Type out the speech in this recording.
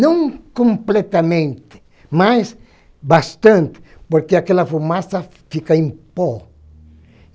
Não completamente, mas bastante, porque aquela fumaça fica em pó.